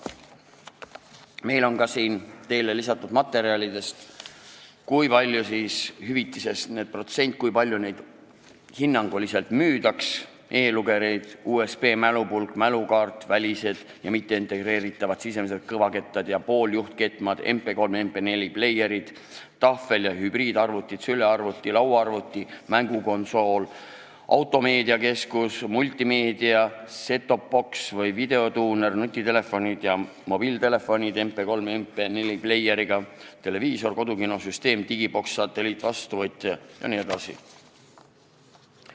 Meil on siin teile lisatud ka materjal näidetega, kui suur oleks hüvitise protsent ehk tasu järgmiste seadmete kohta: e-lugerid, USB-mälupulk, mälukaart, välised ja mitteintegreeritavad sisemised kõvakettad ja pooljuhtkettad, MP3- ja MP4-pleier, tahvel- ja hübriidarvuti, sülearvuti, lauaarvuti, mängukonsool, automeediakeskus, multimeediamängija, set-top box või videotuuner, nutitelefonid ja mobiiltelefonid MP3- ja MP4-pleieriga, televiisor, kodukinosüsteem, digiboks, satelliitvastuvõtja jne.